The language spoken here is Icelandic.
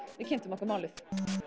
við kynntum okkur málið